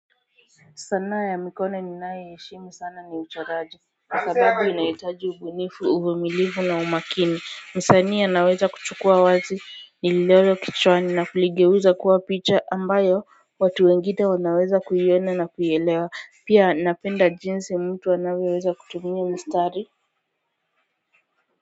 Sanaa ya mikono ninayoiheshimu sana ni uchoraji kwa sababu inahitaji ubunifu uvumilifu na umakini msanii anaweza kuchukua wazi ni lero kichwani na kuligeuza kuwa picha ambayo watu wengine wanaweza kuiona na kuielewa pia napenda jinsi mtu anavyoweza kutumia mistari.